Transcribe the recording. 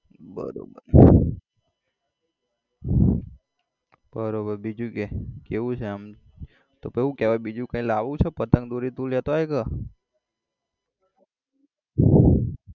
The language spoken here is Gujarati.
બરોબર બરોબર બીજું કે કેવું છે આમ તો પછી હુ કેવાય બીજું કઈ લાવું છે પતંગ દોરી તું લેતો આય કે